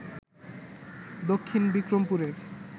দক্ষিণ বিক্রমপুরের